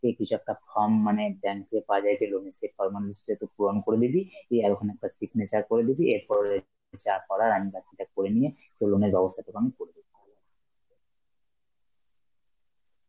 তোকে কিছু একটা form মানে bank এ পাওয়া যায় যে loan এর, সেই formalities টা একটু পূরণ করে দিবি, ইয়া ওখানে তোর signature করে দেবি, এরপরে যা করার আমি বাকিটা করে নিয়ে তোর loan এর ব্যবস্থা তোকে আমি করে দেবো.